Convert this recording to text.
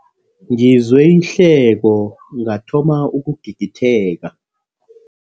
Ngizwe ihleko ngathoma ukugigitheka.